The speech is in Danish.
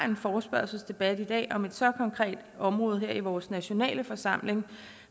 en forespørgselsdebat i dag om et så konkret område her i vores nationale forsamling